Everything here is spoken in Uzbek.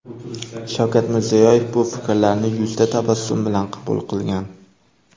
Shavkat Mirziyoyev bu fikrlarni yuzda tabassum bilan qabul qilgan.